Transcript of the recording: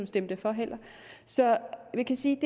stemte for så vi kan sige